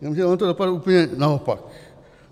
Jenomže ono to dopadlo úplně naopak.